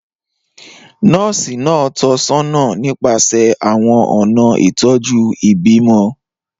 Nọ́ọ̀sì náà tọ́ ọ sọ́nà nípasẹ̀ àwọn ọ̀nà ìtọ́jú ìbímọ.